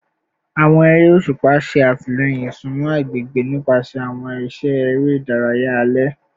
Awọn ere oṣupa ṣe atilẹyin isunmọ agbegbe nipasẹ awọn iṣẹ ere idaraya alẹ